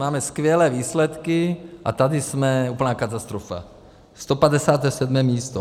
Máme skvělé výsledky, a tady jsme úplná katastrofa, 157. místo.